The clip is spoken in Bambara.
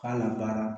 K'a labaara